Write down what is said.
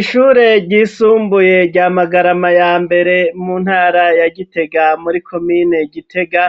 Ishure ryisumbuye rya magarayma ya mbere mu ntara ya Gitega muri komine gitega .